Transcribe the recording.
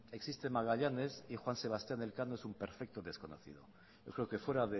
existe magallanes y juan sebastián elcano es un perfecto desconocido yo creo que fuera